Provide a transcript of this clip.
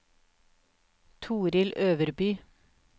Torill Øverby